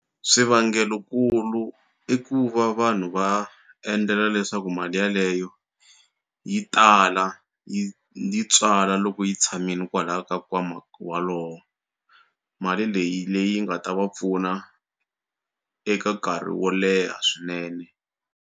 Swivangelo nkulu i ku va vanhu va endlela leswaku mali yaleyo yi tala yi yi tswala loko yi tshamini kwalaya ka kwama walowo mali leyi leyi nga ta va pfuna eka nkarhi wo leha swinene.